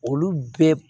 Olu bɛɛ